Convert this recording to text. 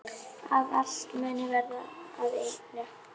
Að allt muni verða að einu.